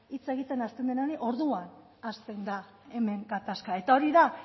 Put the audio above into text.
hitz egiten hasten direnean orduan hasten da hemen gatazka eta hori da